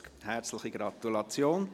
Herzliche Gratulation!